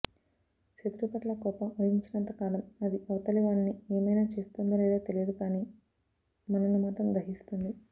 శత్రువు పట్ల కోపం వహించినంతకాలం అది అవతలివాణ్ని ఏమైనా చేస్తుందో లేదో తెలియదు కానీ మనను మాత్రం దహిస్తుంది